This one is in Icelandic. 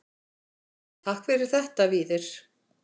Takk fyrir þetta Víðir.